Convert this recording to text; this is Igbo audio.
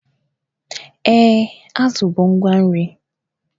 Ee, azụ bụ ngwa nri.